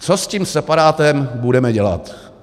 Co s tím separátem budeme dělat.